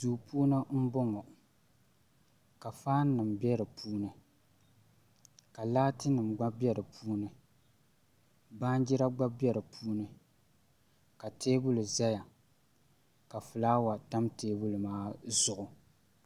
Duu puuni n ku bɔŋɔ ka faan nim bɛ di puuni ka laati nim gba bɛ di puuni baanjira gba bɛ di puuni ka teebuli ʒɛya ka fulaawa tam teebuli maa zuɣu